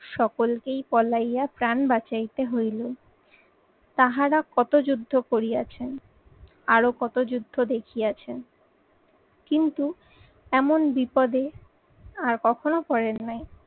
সকলকেই পলাইয়া প্রাণ বাঁচাইতে হইল। তাহারা কত যুদ্ধ করিয়াছেন, আরো কত যুদ্ধ দেখিয়ে আছেন। কিন্তু এমন বিপদে আর কখনো পড়েন নাই।